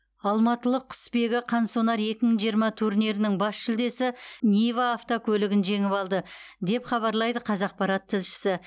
алматылық құсбегі қансонар екі мың жиырма турнирінің бас жүлдесі нива автокөлігін жеңіп алды деп хабарлайды қазақпарат тілшісі